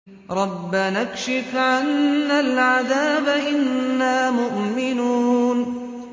رَّبَّنَا اكْشِفْ عَنَّا الْعَذَابَ إِنَّا مُؤْمِنُونَ